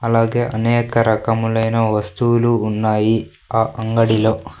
అలాగే అనేక రకములైన వస్తువులు ఉన్నాయి ఆ అంగడిలో.